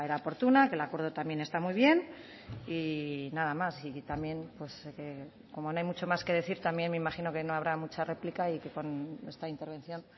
oportuna el acuerdo también está muy bien y nada más y también pues como no hay mucho más que decir también me imagino que no habrá mucha réplica y que con esta intervención